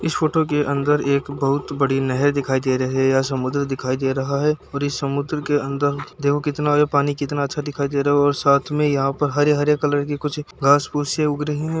इस फोटो के अन्दर एक बहुत बड़ी नहर दिखाई दे रही है या समुद्र दिखाई दे रहा है और इस समुद्र के अन्दर देखो कितना भी पानी कितना अच्छा दिखाई दे रहा है और साथ में यहां हरे-हरे कलर की कुछ घास-फूसे उग रही है।